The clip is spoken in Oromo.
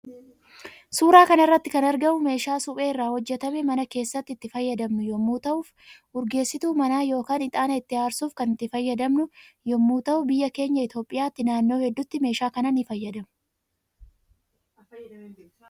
Suuraa kanarratti kan argamu meeshaa suphee irra hojjetamee mana kessatti itti fayyadamnu yommuu ta'uuf urgeessituu mana yookaan ixaana itti aarsuuf kan itti fayyadamnu yommuu ta'u biyya keenya itoophiyatyi naannoo heddutti meeshaa kana ni fayyadamu